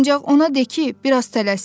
Ancaq ona de ki, biraz tələssin.